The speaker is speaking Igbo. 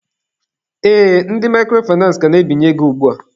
Ee, ndị microfinace ka na-ebinye ego ugbua.